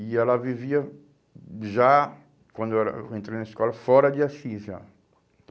E ela vivia já, quando era eu entrei na escola, fora de Assis, já.